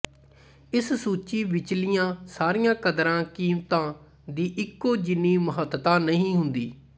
ਇਸ ਸੂਚੀ ਵਿਚਲੀਆਂ ਸਾਰੀਆਂ ਕਦਰਾਂ ਕੀਮਤਾਂ ਦੀ ਇਕੋ ਜਿੰਨੀ ਮਹੱਤਤਾ ਨਹੀਂ ਹੁੰਦੀ